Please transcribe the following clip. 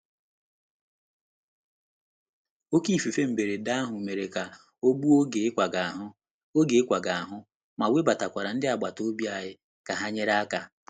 Oké ifufe mberede ahụ mere ka ọ gbuo oge ịkwaga ahụ, oge ịkwaga ahụ, mana webatakwara ndị agbata obi anyị ka ha nyere aka.